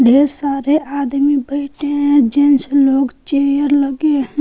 ढेर सारे आदमी बैठे हैं जेंट्स लोग चेयर लगे हैं।